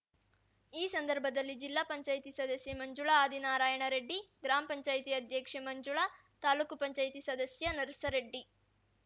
ಈ ಸಂದರ್ಭದಲ್ಲಿ ಜಿಲ್ಲಾ ಪಂಚಾಯತ್ ಸದಸ್ಯೆ ಮಂಜುಳಾ ಆದಿನಾರಾಯಣ ರೆಡ್ಡಿ ಗ್ರಾಮ ಪಂಚಾಯತ್ ಅಧ್ಯಕ್ಷೆ ಮಂಜುಳಾ ತಾಲೂಕು ಪಂಚಾಯತ ಸದಸ್ಯ ನರಸರೆಡ್ಡಿ